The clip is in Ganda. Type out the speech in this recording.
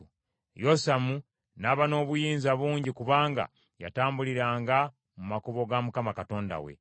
Yosamu n’aba n’obuyinza bungi kubanga yatambuliranga mu makubo ga Mukama Katonda we.